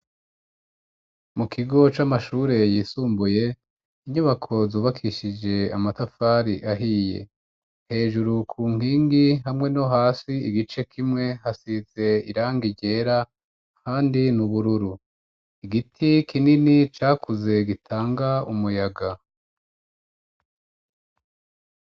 Mu kigo c'amashure yisumbuye inyubako zubakishije amatafari ahiye. Hejuru ku nkingi hamwe no hasi igice kimwe, hasize irangi ryera ahandi n'ubururu. Igiti kinini cakuze gitanga umuyaga.